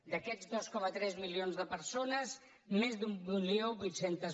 d’aquests dos coma tres milions de persones més d’mil vuit cents